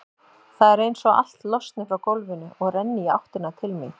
Það er einsog allt losni frá gólfinu og renni í áttina til mín.